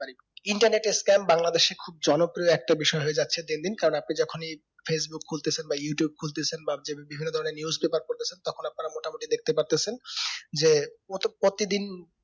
internet এর scam বাংলাদেশে খুব জনপ্রিয় একটা বিষয় হয়ে যাচ্ছে দিন দিন কারণ আপনি যেকোন এই facebook খুলতেছেন বা youtube খুলতেছেন বা বিভিন্ন ধরণের news deperment এ তখন আপনারা মোটামুটি দেখতে পারতাছেন যে ও তো প্রতিদিন